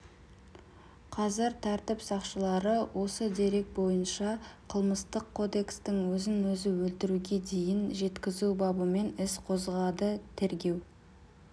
қазір тәртіп сақшылары осы дерек бойынша қылмыстық кодекстің өзін-өзі өлтіруге дейін жеткізу бабымен іс қозғады тергеу